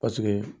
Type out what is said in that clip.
Paseke